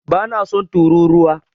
Bana son turūruwa.